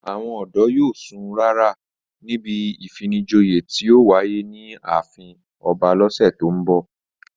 Àwọn ọ̀dọ́ ìlú yóò sun rárà níbi ìfinijoyè tí yóò wáyé ní ààfin ọba lọ́sẹ̀ tó ń bọ̀